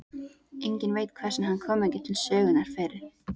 Enginn veit hvers vegna hann kom ekki til sögunnar fyrr.